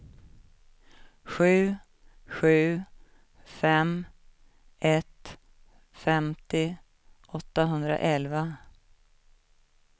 sju sju fem ett femtio åttahundraelva